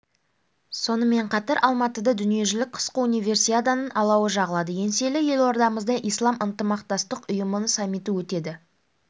сонымен қатар алматыда дүниежүзілік қысқы универсиаданың алауы жағылады еңселі елордамызда ислам ынтымақтастық ұйымының саммиті өтеді біз